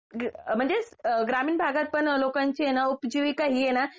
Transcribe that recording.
म्हणजे ग्रामीण भागात पण लोकांची ना उपजीविका ही आहे ना